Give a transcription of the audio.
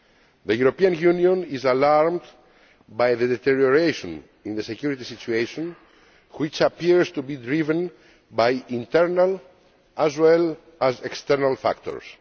The European Union is alarmed by the deterioration in the security situation, which appears to be driven by internal as well as external factors.